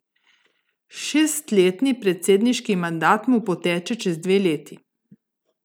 Šestletni predsedniški mandat mu poteče čez dve leti.